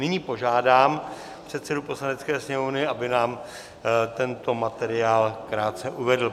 Nyní požádám předsedu Poslanecké sněmovny, aby nám tento materiál krátce uvedl.